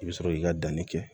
I bɛ sɔrɔ k'i ka danni kɛ